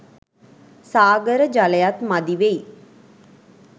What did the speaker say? සාගර ජලයත් මදිවෙයි.